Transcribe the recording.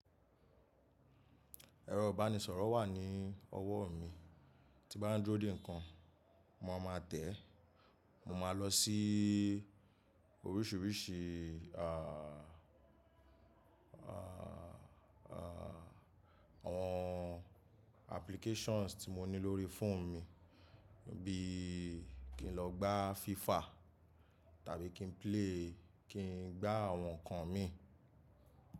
Ẹ̀rọ ìbánisọ̀rọ̀ wà ní ọwọ́ mi, tí bá ń dúró dè nǹkan, mo ma máa tẹ̀ ẹ́, mo máa lọ sí oríṣìíríṣìí, à, à, à, àwọn applications tí mo ní lórí fóònù mi bí kí n lọ gbá FIFA tàbí kí n play, kí n gbá àwọn nǹkan mi.